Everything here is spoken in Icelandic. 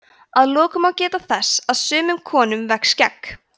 að lokum má geta þess að sumum konum vex skegg